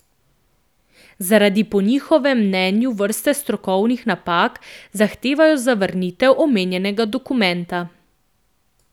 Zaradi po njihovem mnenju vrste strokovnih napak zahtevajo zavrnitev omenjenega dokumenta.